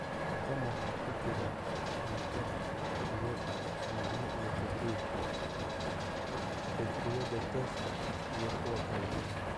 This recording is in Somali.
Tan waxaa ku jira: cunto, biyo, shumacyo iyo kabriid, baytariyada tooshka iyo kuwo kale.